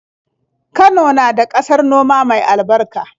Kano na da ƙasar noma mai albarka.